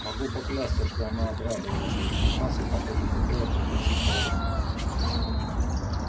могу поклясться что она обрадовалась увидав нас и похоже хотела пригласить поужинать